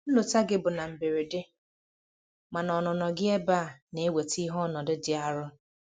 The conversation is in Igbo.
Nlọta gị bụ na mberede, mana ọnụnọ gị ebe na-eweta ihe n'ọnọdụ dị arụ.